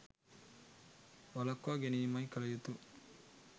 වළක්වා ගැනීමයි කල යුතු.